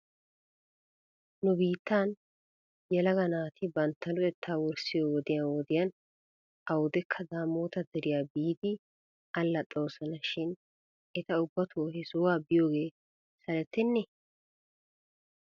Nu biittaa yelaga naati bantta luxettaa wurssiyoo wodiyan wodiyan awdekka daamoota deriyaa bi biidi allaxoosona shin eta ubbato he sohuwaa biyoogee salettenee?